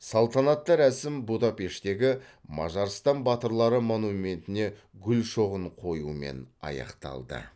салтанатты рәсім будапешттегі мажарстан батырлары монументіне гүл шоғын қоюмен аяқталды